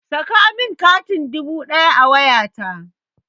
Saka min katin dubu ɗaya a wayata!